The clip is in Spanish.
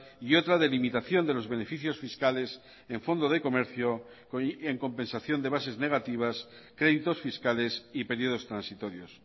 y otra de limitación de los beneficios fiscales en fondo de comercio en compensación de bases negativas créditos fiscales y periodos transitorios